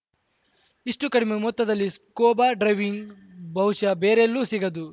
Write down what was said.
ಇಷ್ಟುಕಡಿಮೆ ಮೊತ್ತದಲ್ಲಿ scuba driving ಬಹುಶಃ ಬೇರೆಲ್ಲೂ ಸಿಗದು